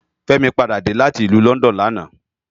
Femi pàdá dé láti ilù London làná